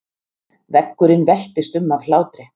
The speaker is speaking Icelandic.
Veggurinn veltist um af hlátri.